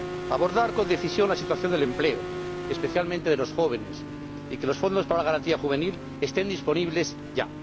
abordar con decisión la situación del empleo, especialmente de los jóvenes, y que los fondos para la garantía juvenil estén disponibles ya